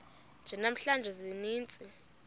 nje namhla ziintsizi